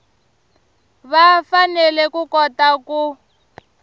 va fanele ku kota ku